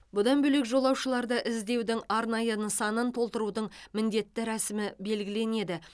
бұдан бөлек жолаушыларды іздеудің арнайы нысанын толтырудың міндетті рәсімі белгіленеді